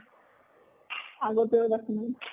আগতেও এবাৰ